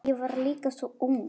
Ég var líka svo ung.